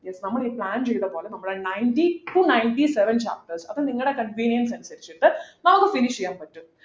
yes നമ്മളീ plan ചെയ്തപോലെ നമ്മൾ ninety to ninety seven chapters അത് നിങ്ങളെ convenience അനുസരിച്ചിട്ട് നമുക്ക് finish ചെയ്യാൻ പറ്റും